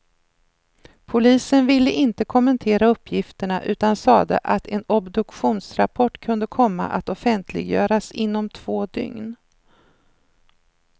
Polisen ville inte kommentera uppgifterna, utan sade att en obduktionsrapport kunde komma att offentliggöras inom två dygn.